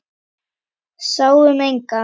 Sáum engan.